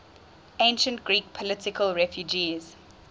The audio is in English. ancient greek political refugees